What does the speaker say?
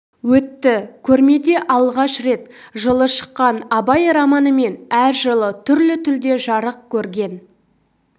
өтті көрмеде алғаш рет жылы шыққан абай романы мен әр жылы түрлі тілде жарық көрген